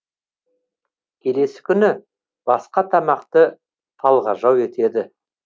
келесі күні басқа тамақты талғажау етеді